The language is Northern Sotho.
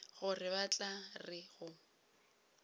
gore ba tla re go